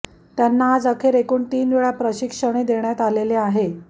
त्यांना आज अखेर एकूण तीन वेळा प्रशिक्षणे देण्यात आलेले आहे